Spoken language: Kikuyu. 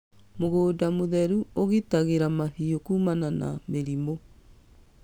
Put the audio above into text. Mũgũnda mũtheru ũgitagĩra mahiũ kuumana na mĩrimũ.